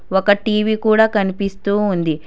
ఒక టీ_వీ కూడా కనిపిస్తూ ఉంది.